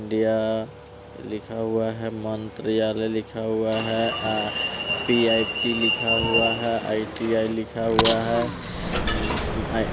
India लिखा हुआ है मंत्रीयालय लिखा हुआ है आ-- पी_आई_टी लिखा हुआ है आई_टी_आई लिखा हुआ है म--